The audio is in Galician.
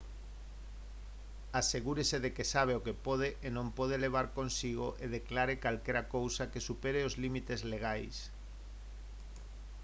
asegúrese de que sabe o que pode e non pode levar consigo e declare calquera cousa que supere os límites legais